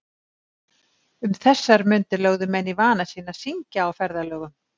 Um þessar mundir lögðu menn í vana sinn að syngja á ferðalögum.